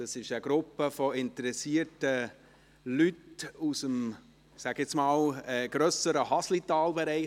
Es ist eine Gruppe von interessierten Leuten aus dem, ich sage einmal, aus dem grösseren Haslitaler Bereich.